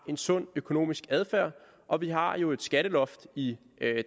en sund økonomisk adfærd og vi har jo et skatteloft i